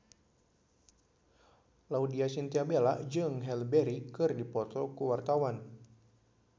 Laudya Chintya Bella jeung Halle Berry keur dipoto ku wartawan